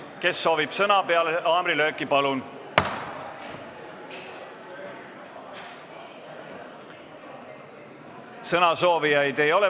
Kes soovib sõna, siis peale haamrilööki, palun!